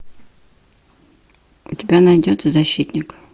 у тебя найдется защитник